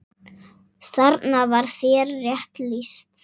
Þarna var þér rétt lýst.